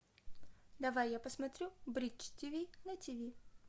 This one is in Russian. давай я посмотрю бридж ти ви на ти ви